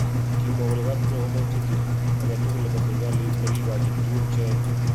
Kimwa kole kapkiruok koma utetuiet agetugul nebo serikali nekikachin tuguk che yae.